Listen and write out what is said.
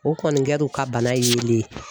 O kɔni kɛra u ka bana yelen ye